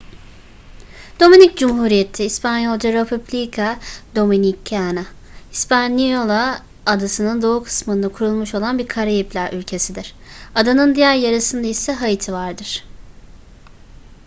dominik cumhuriyeti i̇spanyolca: república dominicana hispaniola adasının doğu kısmında kurulmuş olan bir karayipler ülkesidir. adanın diğer yarısında ise haiti vardır